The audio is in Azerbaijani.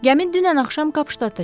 Gəmi dünən axşam Kapşdada çatıb.